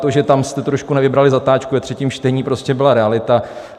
To, že tam jste trošku nevybrali zatáčku ve třetím čtení, prostě byla realita.